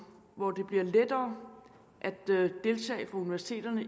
hvor det bliver lettere for universiteterne